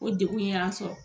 O degun y'an sɔrɔ